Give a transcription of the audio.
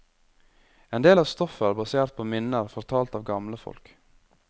En del av stoffet er basert på minner fortalt av gamle folk.